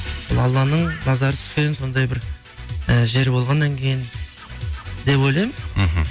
бұл алланың назары түскен сондай бір і жер болғаннан кейін деп ойлаймын мхм